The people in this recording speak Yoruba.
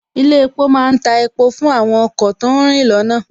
Ilé epo má ń ta epo fún àwọn ọkọ̀ tó ń rìn lọ́nà